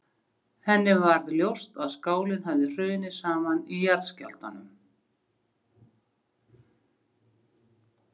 Henni varð ljóst að skálinn hafði hrunið saman í jarðskjálftunum.